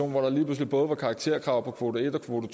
hvor der lige pludselig både var karakterkrav på kvote en og kvote